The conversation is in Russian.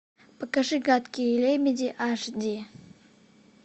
покажи гадкие лебеди аш ди